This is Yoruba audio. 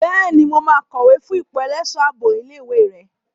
Bẹ́ẹ̀ni, mo máa kọ̀wé fún ipò ẹlẹ́ṣọ̀ ààbò ilé ìwé rẹ.